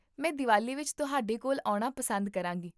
ਮੈਂ ਦੀਵਾਲੀ ਵਿੱਚ ਤੁਹਾਡੇ ਕੋਲ ਆਉਣਾ ਪਸੰਦ ਕਰਾਂਗੀ